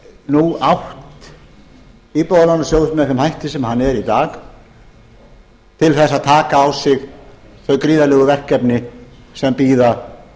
nú átt íbúðalánasjóð með þeim hætti sem hann er í dag til þess að taka á sig þau gríðarlegu verkefni sem bíða og